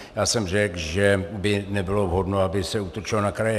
Já jsem řekl, že by nebylo vhodno, aby se útočilo na kraje.